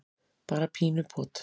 bara pínu pot.